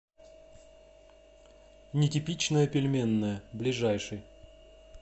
нетипичная пельменная ближайший